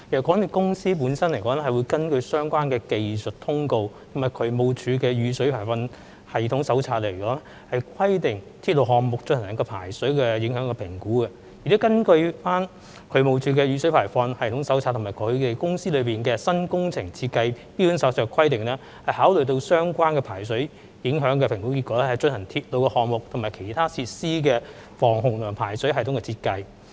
港鐵公司本身會根據相關的技術通告及渠務署的《雨水排放系統手冊》的規定，為鐵路項目進行排水影響評估，並會根據渠務署的《雨水排放系統手冊》和港鐵公司的《新工程設計標準手冊》的規定，考慮相關的排水影響評估結果，以進行鐵路項目和其他設施的防洪和排水系統設計。